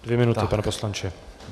Dvě minuty, pane poslanče.